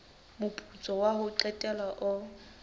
moputso wa ho qetela o